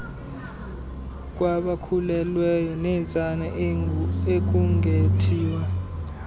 kwabakhulelweyo neentsana akungethiwa